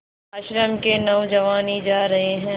आश्रम के नौजवान ही जा रहे हैं